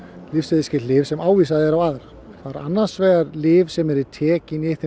lyfseðilsskyld lyf sem ávísað er á aðra það eru annars vegar lyf sem eru tekin í þeim